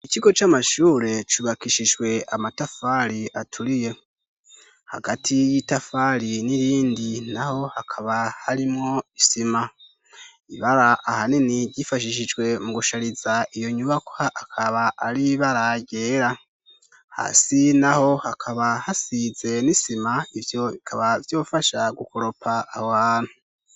Ikigo c'amashure cubakishijwe amatafari aturiye, hagati y'itafari n'irindi naho hakaba harimwo isima ,ibara ahanini gifashishijwe mu gushariza iyo nyubako akaba ari ibara ryera, hasi naho hakaba hasize n'isima. Ivyo bikaba vyofasha gukoropa aho hantu.